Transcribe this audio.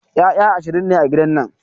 Ƴaƴa ashirin ne a gidan nan